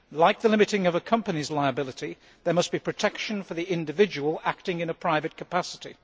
Like the limiting of a company's liability, there must be protection for the individual acting in a private capacity.